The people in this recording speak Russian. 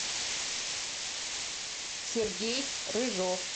сергей рыжов